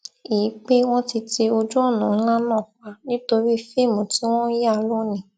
i pé wọn ti ti ojúọnà ńlá náà pa nítorí fíìmù tí wọn n yà lónìí